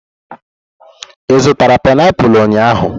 Ị zụtara painiapulu ụnyahụ?